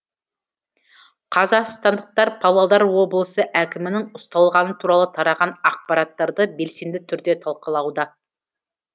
қазақстандықтар павлодар облысы әкімінің ұсталғаны туралы тараған ақпараттарды белсенді түрде талқылауда